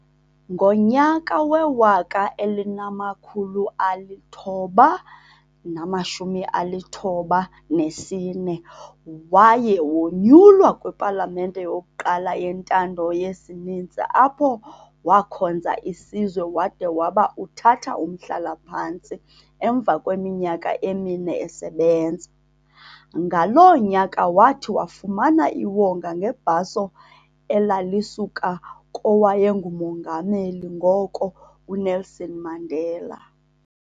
Ngonyaka we-1994, waye wonyulwa kwiPalamente yokuqala yentando yesininzi apho wakhonza isizwe wade waba uthatha umhlala-phantsi emva kweminyaka emine esebenza. Ngaloo nyaka wathi wafumana iwonga ngebhaso elalisuka kowayenguMongameli ngoko uNelson Mandela.